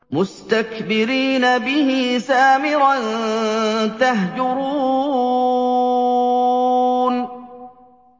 مُسْتَكْبِرِينَ بِهِ سَامِرًا تَهْجُرُونَ